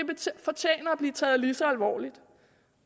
fortjener at blive taget lige så alvorligt